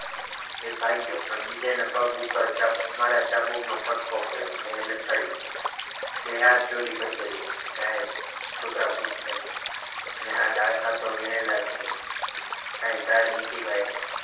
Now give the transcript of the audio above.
એ ભાગ્યો પણ બીજાને પગ ઉપર મારા ચાબુક નો ફટકો પડ્યો અને એ લથળિયા બે હાથ જોડી કર્યો સાહેબ છોકરાઓ ભૂખ્યા છે અને આ ડાળખા તો વીણેલા છે કંઈ ઝાડ નથી કાપ્યા.